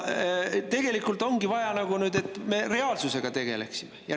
Tegelikult ongi nüüd nagu vaja, et me reaalsusega tegeleksime.